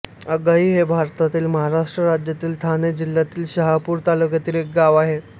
आघाई हे भारतातील महाराष्ट्र राज्यातील ठाणे जिल्ह्यातील शहापूर तालुक्यातील एक गाव आहे